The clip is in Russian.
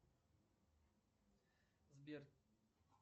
сбер